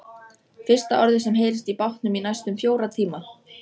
Fyrsta orðið sem heyrist í bátnum í næstum fjóra tíma.